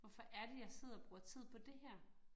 Hvorfor er det, jeg sidder og bruger tid på det her